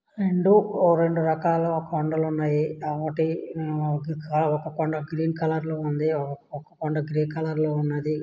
రెండు ఒ రెండు రకాల కొండలున్నాయి ఒకటి ఒక కొండ గ్రీన్ కలర్లో ఉంది ఒక కొండ గ్రే కలర్లో ఉన్నదీ.